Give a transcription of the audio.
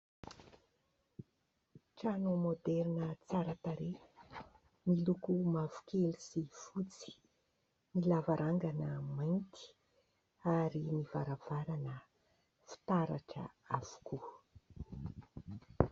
Trano môderina tsara tarehy miloko mavokely sy fotsy, ny lavarangana mainty ary ny varavarana fitaratra avokoa.